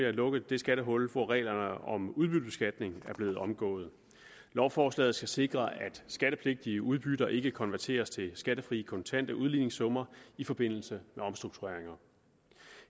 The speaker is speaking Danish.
at lukke det skattehul hvor reglerne om udbyttebeskatning er blevet omgået lovforslaget skal sikre at skattepligtige udbytter ikke konverteres til skattefrie kontante udligningssummer i forbindelse med omstruktureringer